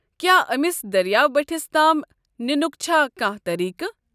کیٛاہ أمس دٔریاو بٔٹھس تام ننُک چھےٚ کانٛہہ طریقہٕ؟